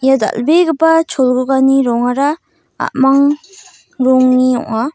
ia dal·begipa cholgugani rongara a·mang rongni ong·a.